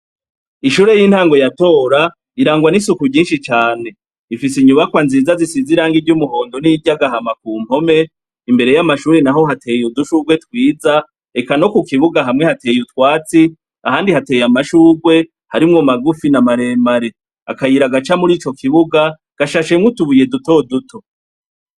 Ishure y'intango ya Tora irangwa n'isuku ryinshi cane. Rifise inyubakwa nziza zisize irangi ry'umuhondo n'iry'agahama ku mpome, imbere y'amashure naho hateye udushurwe twiza, eka no ku kibuga hamwe hatey'utwatsi, ahandi hateye amashurwe, harimwo magufi na maremare. Akayira gaca muri ico kibuga gashashe mw'utubuye dutoduto.